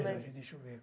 Olha, deixa eu ver.